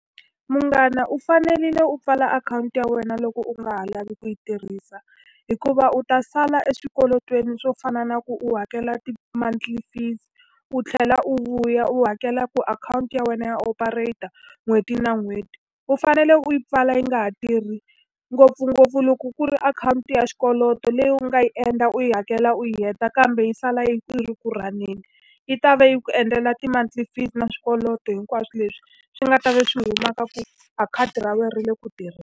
Munghana u fanerile u pfala akhawunti ya wena loko u nga ha lavi ku yi tirhisa, hikuva u ta sala eswikweletini swo fana na ku u hakela ti-monthly fee u tlhela u vuya u hakela ku akhawunti ya wena ya operate-a n'hweti na n'hweti. U fanele u yi pfala yi nga ha tirhi ngopfungopfu loko ku ri akhawunti ya xikweleti leyi u nga yi endla u yi hakela u yi heta kambe yi sala yi ri ku run-eni. Yi ta va yi ku endlela ti-monthly fee na swikweleti hinkwaswo leswi, swi nga ta va swi huma ka ku a khadi ra wena ri le ku tirheni.